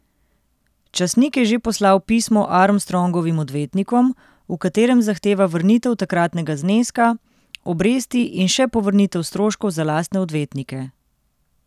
Časnik je že poslal pismo Armstrongovim odvetnikom, v katerem zahteva vrnitev takratnega zneska, obresti in še povrnitev stroškov za lastne odvetnike.